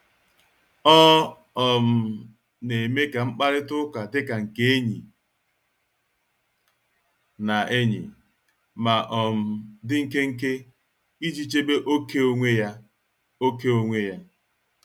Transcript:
Ọ um na-eme ka mkparịta ụka dika nke enyi na enyi, ma um di nkenke iji chebe ókè onwe ya. ókè onwe ya.